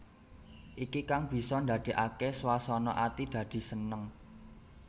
Iki kang bisa ndadèkaké swasana ati dadi seneng